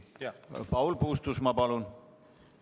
Paul Puustusmaa, palun!